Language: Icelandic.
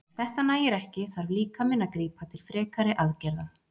Ef þetta nægir ekki þarf líkaminn að grípa til frekari aðgerða.